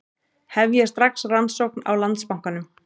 Hefja strax rannsókn á Landsbankanum